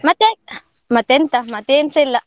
ಮತ್ತೆ? ಮತ್ತೆಂತ ಮತ್ತೆ ಏನ್ಸಾ ಇಲ್ಲ.